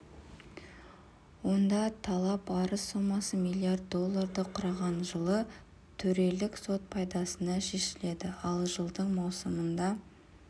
онда талап арыз сомасы миллиард долларды құраған жылы төрелік сот пайдасына шешілді ал жылдың маусымында